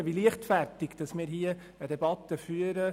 Ich staune, wie leichtfertig wir diese Debatte führen.